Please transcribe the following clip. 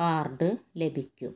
card ലഭിക്കും